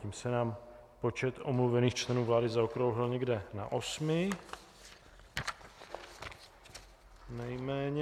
Tím se nám počet omluvených členů vlády zaokrouhlil někde na osmi nejméně.